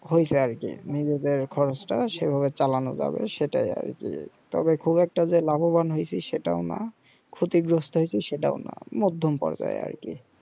হয়েছে আর কি নিজেদের খরচটা সেই ভাবে চালানো যাবে তো আর কি তবে খুব একটা যে লাভবান হয়েছি সেটাও না ক্ষতি গ্রস্ত হয়েছি সেটাও না মধ্যম পর্যায়ে আর কি